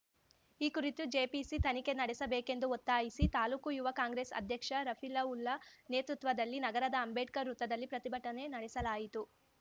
ಈ ಕುರಿತು ಜೆಪಿಸಿ ತನಿಖೆ ನಡೆಸಬೇಕೆಂದು ಒತ್ತಾಯಿಸಿ ತಾಲೂಕು ಯುವ ಕಾಂಗ್ರೆಸ್‌ ಅಧ್ಯಕ್ಷ ರಫೀಲಾವುಲ್ಲಾ ನೇತೃತ್ವದಲ್ಲಿ ನಗರದ ಅಂಬೇಡ್ಕರ್‌ ವೃತ್ತದಲ್ಲಿ ಪ್ರತಿಭಟನೆ ನಡೆಸಲಾಯಿತು